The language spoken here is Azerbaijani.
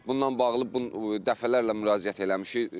Bununla bağlı dəfələrlə müraciət eləmişik.